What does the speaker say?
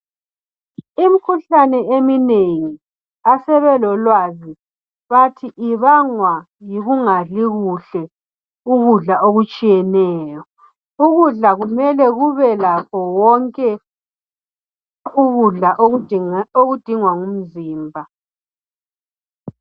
Imikhuhlane eminengi asebelelowazi bathi ibangwa yikungadli kuhle, ukudla okutshiyeneyo. Ukudla kumele kubelakho konke ukudla okudingwa ngumzimba.